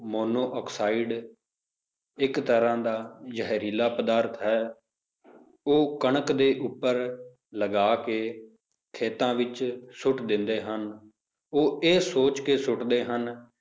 monoxide ਇੱਕ ਤਰ੍ਹਾਂ ਦਾ ਜ਼ਹਿਰੀਲਾ ਪਦਾਰਥ ਹੈ ਉਹ ਕਣਕ ਦੇ ਉੱਪਰ ਲਗਾ ਕੇ ਖੇਤਾਂ ਵਿੱਚ ਸੁੱਟ ਦਿੰਦੇ ਹਨ, ਉਹ ਇਹ ਸੋਚ ਕੇ ਸੁੱਟਦੇ ਹਨ,